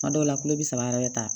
Kuma dɔw la kulo bi saba yɛrɛ ta